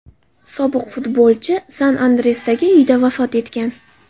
Sobiq futbolchi San-Andresdagi uyida vafot etgan.